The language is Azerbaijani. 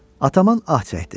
Ataman ah çəkdi.